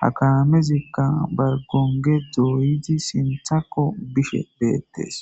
hakamezikka bar gonge dooyizi sinthakko bishe beettes